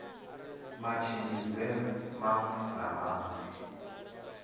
matshimbidzelwe maṅwe na maṅwe a